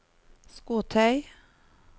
skotøy